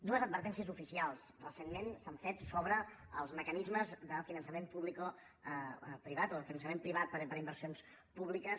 dues advertències oficials recentment s’han fet sobre els mecanismes de finançament publicoprivat o de finançament privat per a inversions públiques